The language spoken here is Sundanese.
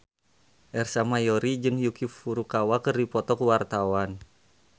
Ersa Mayori jeung Yuki Furukawa keur dipoto ku wartawan